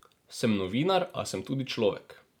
Sem novinar, a sem tudi človek.